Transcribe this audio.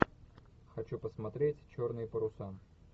хочу посмотреть черные паруса